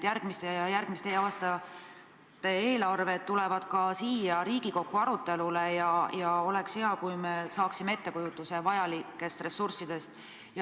Järgmiste aastate eelarved tulevad ka siia Riigikokku arutelule ja oleks hea, kui me saaksime ettekujutuse vajalikest ressurssidest.